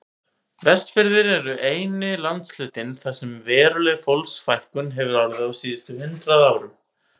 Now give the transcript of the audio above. Vestfirðir eru eini landshlutinn þar sem veruleg fólksfækkun hefur orðið á síðustu hundrað árum.